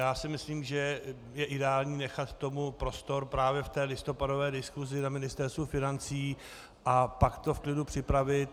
Já si myslím, že je ideální nechat tomu prostor právě v té listopadové diskusi na Ministerstvu financí a pak to v klidu připravit.